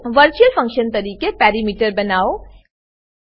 virtual function તરીકે parameter parameter બનાવો